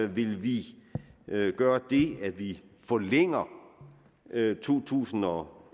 ville vi gøre det at vi forlænger to tusind og